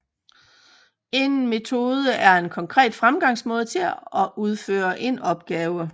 En metode er en konkret fremgangsmåde til at udføre en opgave